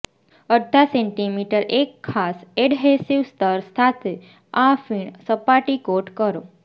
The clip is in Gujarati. અડધા સેન્ટીમીટર એક ખાસ એડહેસિવ સ્તર સાથે આ ફીણ સપાટી કોટ કરો